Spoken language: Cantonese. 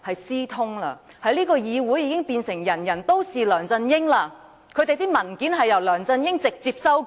這個議會已變成"人人都是梁振英"，因為他們的文件由梁振英直接修改。